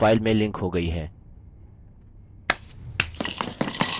image अब file में linked हो गयी है